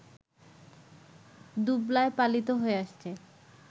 দুবলায় পালিত হয়ে আসছে